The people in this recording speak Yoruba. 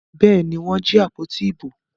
Bẹ́ẹ̀ ni, wọ́n jí àpótí ìbò.